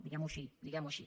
diguem ho així diguem ho així